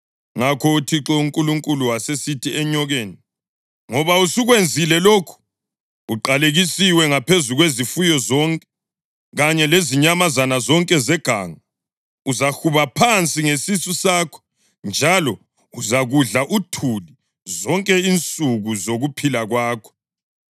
Ngakho uThixo uNkulunkulu wasesithi enyokeni, “Ngoba usukwenzile lokhu, Uqalekisiwe ngaphezu kwezifuyo zonke kanye lezinyamazana zonke zeganga! Uzahuba phansi ngesisu sakho njalo uzakudla uthuli zonke insuku zokuphila kwakho.